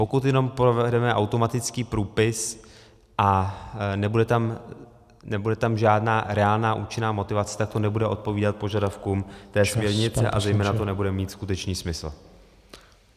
Pokud jenom provedeme automatický průpis a nebude tam žádná reálná účinná motivace, tak to nebude odpovídat požadavkům té směrnice a zejména to nebude mít skutečný smysl.